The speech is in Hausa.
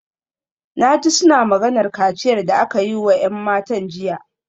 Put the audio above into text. Na ji suna maganar kaciyar da aka yi wa ‘yan matan jiya